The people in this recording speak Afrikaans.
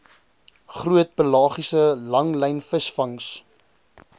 groot pelagiese langlynvisvangs